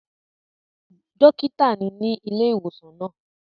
Dókítà ni ní ilé ìwòsàn náà